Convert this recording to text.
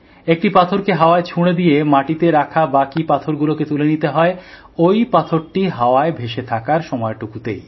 একটি পাথরকে হাওয়ায় ছুঁড়ে দিয়ে মাটিতে রাখা বাকি পাথরগুলোকে তুলে নিতে হয় ওই পাথরটি হাওয়ায় ভেসে থাকার সময়টুকুর মধ্যেই